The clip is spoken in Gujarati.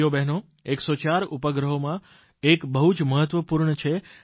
ભાઇઓ બહેનો આ 104 ઉપગ્રહોમાં એક બહુ જ મહત્વપૂર્ણ છે